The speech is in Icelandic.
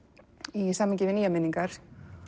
í samhengi við nýjar minningar